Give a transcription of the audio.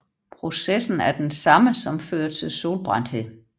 Processen er den samme som fører til solbrændthed